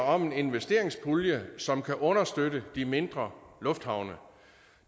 om en investeringspulje som kan understøtte de mindre lufthavne